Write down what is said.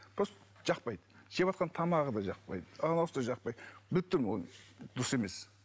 просто жақпайды жеватқан тамағы да жақпайды анауысы да жақпайды біліп тұрмын оны дұрыс емес